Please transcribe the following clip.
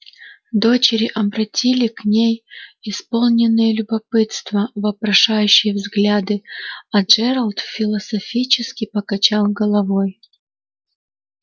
дочери обратили к ней исполненные любопытства вопрошающие взгляды а джералд философически покачал головой